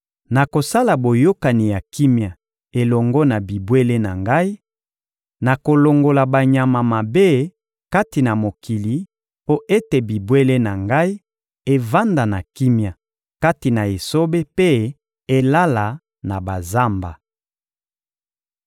Nakosala boyokani ya kimia elongo na bibwele na Ngai, nakolongola banyama mabe kati na mokili mpo ete bibwele na Ngai evanda na kimia kati na esobe mpe elala na bazamba.